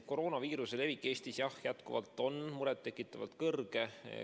Koroonaviiruse levik Eestis on, jah, jätkuvalt muret tekitavalt kõrge.